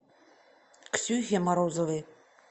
ксюхе морозовой